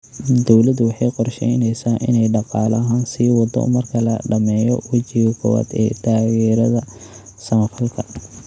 Dawladdu waxa ay qorshaynaysaa in ay dhaqaale ahaan sii wado marka la dhammeeyo wejiga koowaad ee taageerada samafalka.